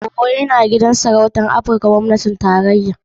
Owo yana da gidan sarauta mafi girma (Aghofen) a Afirka wanda gwamnatin tarayya ta ayyana.